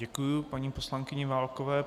Děkuji paní poslankyni Válkové.